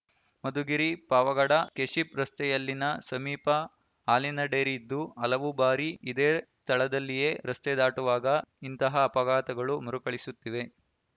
Madhugiri Pavagada KSHIP ರಸ್ತೆಯಲ್ಲಿನ ಸಮೀಪ ಹಾಲಿನ ಡೈರಿ ಇದ್ದು ಹಲವು ಬಾರಿ ಇದೇ ಸ್ಥಳದಲ್ಲಿಯೇ ರಸ್ತೆ ದಾಟುವಾಗ ಇಂತಹ ಅಪಘಾತಗಳು ಮರುಕಳುಸುತ್ತಿವೆ